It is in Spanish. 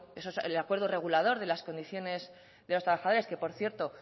ese es el acuerdo regulados de las condiciones de los trabajadores que por cierto